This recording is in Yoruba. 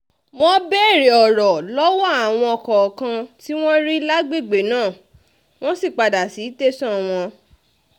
wọ́n béèrè ọ̀rọ̀ lọ́wọ́ àwọn kọ̀ọ̀kan tí wọ́n rí lágbègbè náà wọ́n sì padà sí tẹ̀sán wọn